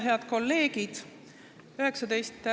Head kolleegid!